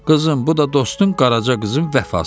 Qızım, bu da dostun qaraca qızın vəfası.